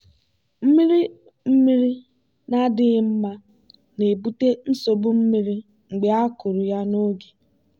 mmiri mmiri na-adịghị mma na-ebute nsogbu mmiri mgbe a kụrụ ya n'oge.